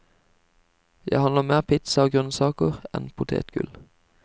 Jeg handler mer pizza og grønnsaker enn potetgull.